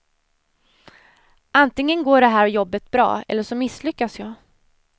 Antingen går det här jobbet bra, eller så misslyckas jag.